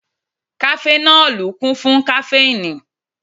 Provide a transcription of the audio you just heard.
Kafẹnọli kún fún kaféìnì